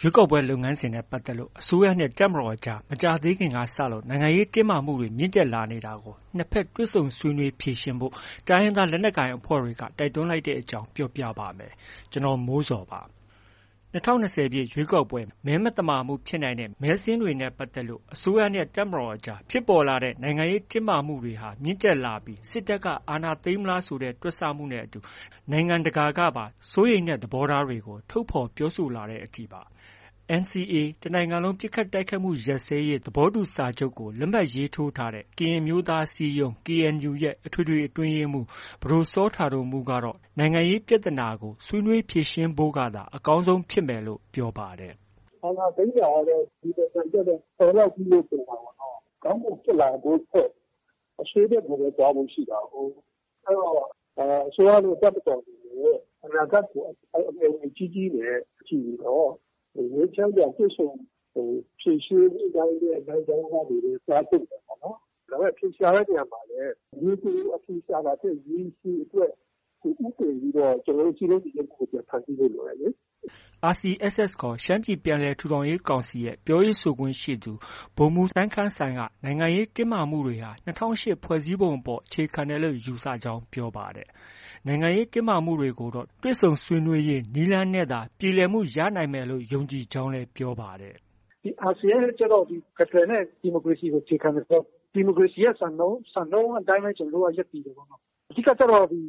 ရွေးကောက်ပွဲ လုပ်ငန်းစဉ်နဲ့ ပတ်သက်လို့ အစိုးရနဲ့ တပ်မတော်အကြား မကြာသေးခင်ကစလို့ နိုင်ငံရေးတင်းမာမှုတွေ မြင့်တက်လာနေတာကို နှစ်ဘက် တွေ့ဆုံဆွေးနွေး ဖြေရှင်းဖို့ တိုင်းရင်းသားလက်နက်ကိုင် အဖွဲ့တွေက တိုက်တွန်းလိုက်တဲ့အကြောင်းကို ဗွီအိုအေမြန်မာပိုင်း သတင်းထောက် ကိုမိုးဇော်က ပြောပြပါမယ်။ ၂၀၂၀ ပြည့် ရွေးကောက်ပွဲ မဲမသမာမှုဖြစ်နိုင်တဲ့ မဲစာရင်းတွေနဲ့ပတ်သက်လို့ အစိုးရနဲ့ တပ်မတော်အကြား ဖြစ်ပေါ်လာတဲ့ နိုင်ငံရေးတင်းမာမှုတွေ မြင့်တက်လာပြီး စစ်တပ်က အာဏာသိမ်းမလားဆိုတဲ့ တွက်ဆမှုတွေနဲ့အတူ နိုင်ငံတကာကပါ စိုးရိမ်တဲ့ သဘောထားတွေကို ထုတ်ဖော်ပြောဆိုလာတဲ့အထိပါ။ NCA တစ်နိုင်ငံလုံးပစ်ခတ်တိုက်ခိုက်မှု ရပ်စဲရေးစာချုပ်ကို လက်မှတ်ရေးထိုးထားတဲ့ ကရင်အမျိုးသားအစည်းအရုံး KNU ရဲ့ အထွေထွေအတွင်းရေးမှူး ပဒိုစောတာဒိုမှုးကတော့ နိုင်ငံရေးပြဿနာကို ဆွေးနွေးဖြေရှင်းဖို့ကသာ အကောင်းဆုံးဖြစ်မယ်လို့ ပြောပါတယ်။ “အာဏာသိမ်းတာကတော့ ဒီနိုင်ငံအတွက်တော့ တော်လောက်ပြီလို့ ထင်ပါတယ်။ ကောင်းဖို့ ဖြစ်လာဖို့ထက် အဆိုးဘက်ကိုပဲ သွားဖို့ ရှိတာကိုး။ အဲဒီတော့ အစိုးရနဲ့ တပ်မတော်အနေနဲ့ အနာဂတ်ကို အမျှော်အမြင်ကြီးကြီးနဲ့ ကြည့်ပြီးတော့ ငြိမ်းချမ်းစွာ တွေ့ဆုံဖြေရှင်းသွားတဲ့ လမ်းကြောင်းကနေပဲ သွားသင့်တယ်ပေါ့နော်။ အဖြေရှာတဲ့ နေရာမှာလည်း ရေတိုအဖြေရှာတာထက် ရေရှည်အတွက် ဦးတည်ပြီးတော့ ကျနော်တို့ စည်းလုံးညီညွှတ်မှုကို ပြန်ဖန်တီးဖို့ လိုတယ်လေ။” RCSS ခေါ် ရှမ်းပြည်ပြန်လည်ထူထောင်ရေးကောင်စီရဲ့ ပြောရေးဆိုခွင့်ရှိသူ ဗိုလ်မှူးစိုင်းခမ်းကတော့ နိုင်ငံရေးတင်းမာမှုတွေဟာ ၂၀၀၈ ခုနှစ် ဖွဲ့စည်းပုံအပေါ် အခြေခံတယ်လို့ ယူဆကြောင်း ပြောပါတယ်။ နိုင်ငံရေးတင်းမာမှုတွေကိုတော့ တွေ့ဆုံဆွေးနွေးရေး နည်းလမ်းနဲ့သာ ပြေလည်မှုရနိုင်မယ်လို့ ယုံကြည်ကြောင်းလည်း ပြောပါတယ်။ “RCSS အနေနဲ့ ဖက်ဒရယ်နဲ့ ဒီမိုကရေစီကို အခြေခံတယ်ဆိုတော့ ဒီမိုကရေစီရဲ့ စံနှုန်းအတိုင်းပဲ ကျနော်တို့က ရပ်တည်တယ်။ အဓိကကျတော့ ဖွဲ့စ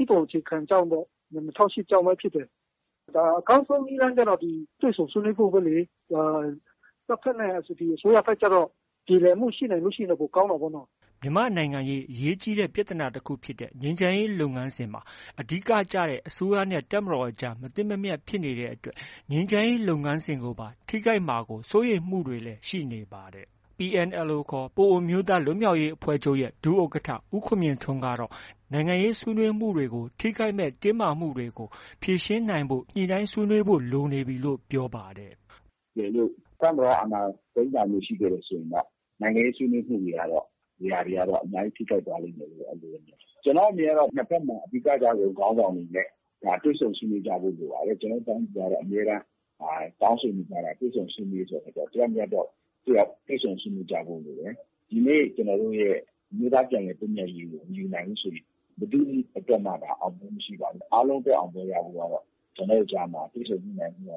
ည်းပုံအခြေခံကြောင့်ပေါ့။ ၂၀၀၈ ကြောင့်ပဲ ဖြစ်တယ်။ အကောင်းဆုံး နည်းလမ်းကျတော့ တွေ့ဆုံဆွေးနွေးဖို့ပဲလေ။ တပ်ဘက်နဲ့အတူတူ အစိုးရဘက်ကျတော့ ပြေလည်မှုရှိနိုင်ရင် ပိုကောင်းတာပေါ့နော်။” မြန်မာ့နိုင်ငံရေး အရေးကြီးတဲ့ ပြဿနာတခုဖြစ်တဲ့ ငြိမ်းချမ်းရေး လုပ်ငန်းစဉ်မှာ အဓိကကျတဲ့ အစိုးရနဲ့ တပ်မတော်ကြား မသင့်မမြတ် ဖြစ်နေတဲ့အတွက် ငြိမ်းချမ်းရေး လုပ်ငန်းစဉ်ကိုပါ ထိခိုက်မှာ စိုးရိမ်မှုတွေလည်း ရှိနေပါတယ်။ PNLO ခေါ် ပအိုဝ်းအမျိုးသားလွတ်မြောက်ရေးအဖွဲ့ချုပ် ဒုဥက္ကဋ္ဌ ဦးခွန်မြင့်ထွန်းကတော့ နိုင်ငံရေးဆွေးနွေးမှုတွေကို ထိခိုက်နိုင်မယ့် တင်းမာမှုတွေကို ဖြေရှင်းနိုင်အောင် ညှိနှိုင်းဖို့လိုနေပြီလို့ ပြောပါတယ်။ “တကယ်လို့ တပ်မတော်က အာဏာသိမ်းတာမျိုး ရှိခဲ့တယ်ဆိုရင်တော့ နိုင်ငံရေးဆွေးနွေးမှုတွေကတော့ အများကြီး ထိခိုက်သွားလိမ့်မယ်... အဲဒီလိုတော့ မြင်ပါတယ်။ ကျနော့်အမြင်ကတော့ နှစ်ဘက်မှာ အဓိက ကျတဲ့ခေါင်းဆောင်တွေနဲ့ တွေ့ဆုံဆွေးနွေးကြဖို့ လိုပါတယ်။ ကျနော်တို့ တိုင်းပြည်ကတော့ အမြဲတမ်း တောင်းဆိုနေကြတာက တွေ့ဆုံဆွေးနွေးရေးဆိုတဲ့အခါကျတော့ တစ်ယောက်နဲ့ တစ်ယောက် တွေ့ဆုံဆွေးနွေးကြဖို့ လိုတယ်။ ဒီနေ့ ကျနော်တို့ရဲ့ အမျိုးသားပြန်လည်သင့်မြတ်ရေးကို မယူနိုင်ဘူးဆိုရင် ဘယ်သူ့အတွက်မှ အောင်မြင်မှု မရှိနိုင်ဘူး။ အားလုံးအတွက် အောင်ပွဲ ရဖို့ကတော့ ကျနော်တို့ကြားမှာ တွေ့ဆုံညှိနှိုင်းမှု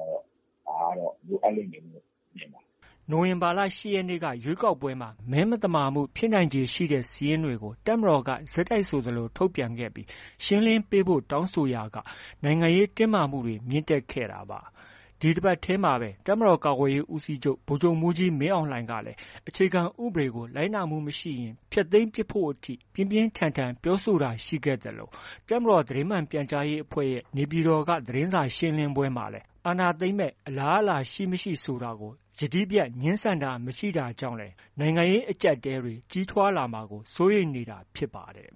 ကတော့ လိုအပ်လိမ့်မယ်လို့ မြင်တယ်။ ” နိုဝင်ဘာလ ၈ ရက်နေ့က ရွေးကောက်ပွဲမှာ မဲမသမာမှုဖြစ်နိုင်ခြေရှိတဲ့ စာရင်းတွေကို တပ်မတော်က ဆက်တိုက်ဆိုသလို ထုတ်ပြန်ခဲ့ပြီး ရှင်းလင်းပေးဖို့ တောင်းဆိုရာက နိုင်ငံရေးတင်းမာမှုတွေ မြင့်တက်ခဲ့တာပါ။ ဒီတပတ်ထဲမှာပဲ တပ်မတော်ကာကွယ်ရေးဦးစီးချုပ် ဗိုလ်ချုပ်မှူးကြီးမင်းအောင်လှိုင်ကလည်း အခြေခံဥပဒေကို လိုက်နာမှု မရှိရင် ဖျက်သိမ်းပစ်ဖို့အထိ ပြင်းပြင်းထန်ထန် ပြောဆိုတာရှိခဲ့သလို တပ်မတော်သတင်းမှန် ပြန်ကြားရေးအဖွဲ့ရဲ့ နေပြည်တော်က သတင်းစာရှင်းလင်းပွဲမှာလည်း အာဏာသိမ်းမယ့် အလားအလာရှိ၊ မရှိ ဆိုတာကို ယတိပြတ် ငြင်းဆန်တာ မရှိခဲ့တာကြောင့်လည်း နိုင်ငံရေး အကြပ်အတည်းတွေ ကြီးထွားလာမှာကို စိုးရိမ်နေတာဖြစ်ပါတယ်